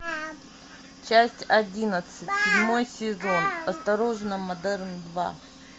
часть одиннадцать седьмой сезон осторожно модерн два